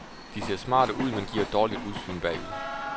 De ser smarte ud, men giver et dårligt udsyn bagud.